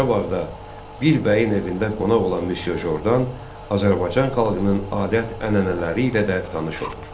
Qarabağda bir bəyin evində qonaq olan Misye Jordan Azərbaycan xalqının adət-ənənələri ilə də tanış olur.